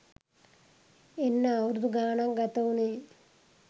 එන්න අවුරුදු ගානක් ගත වුනේ